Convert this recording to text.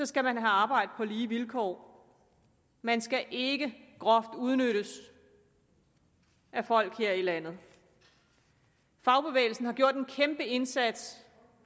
skal man have arbejde på lige vilkår man skal ikke groft udnyttes af folk her i landet fagbevægelsen har gjort en kæmpe indsats